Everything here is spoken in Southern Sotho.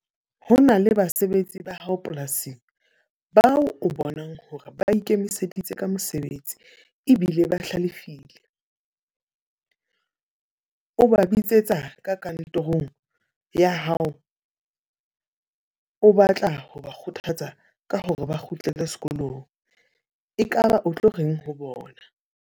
Ho na le basebetsi ba hao polasing, bao o bonang hore ba ikemiseditse ka mosebetsi ebile ba hlalefile. O ba bitsetsa ka kantorong ya hao, o batla ho ba kgothatsa ka hore ba kgutlele sekolong. Ekaba o tlo reng ho bona?